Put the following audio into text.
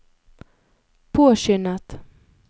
påskyndet